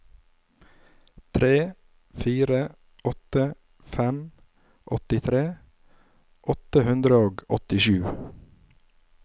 tre fire åtte fem åttitre åtte hundre og åttisju